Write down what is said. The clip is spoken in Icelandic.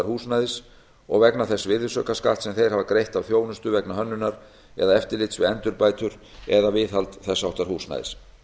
húsnæðis og vegna þess virðisaukaskatts sem þeir hafa greitt af þjónustu vegna hönnunar eða eftirlits við endurbætur eða viðhald þess háttar húsnæðis